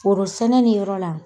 Foro sɛnɛ ni yɔrɔ la